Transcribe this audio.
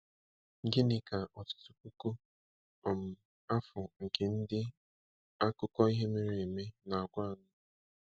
Gịnị ka ọtụtụ puku um afọ nke ndị akụkọ ihe mere eme na-agwa anyị?